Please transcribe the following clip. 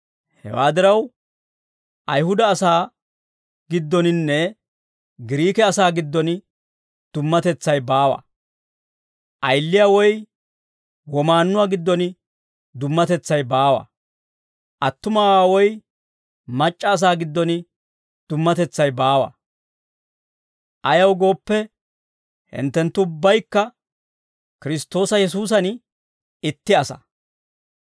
Hewaa diraw, Ayihuda asaa giddoninne Giriike asaa giddon dummatetsay baawa; ayiliyaa woy womaannuwaa giddon dummatetsay baawa; attumawaa woy mac'c'a asaa giddon dummatetsay baawa. Ayaw gooppe, hinttenttu ubbaykka Kiristtoosa Yesuusan itti asaa.